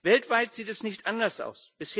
Weltweit sieht es nicht anders aus.